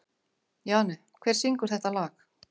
Jane, hver syngur þetta lag?